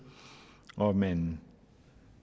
og man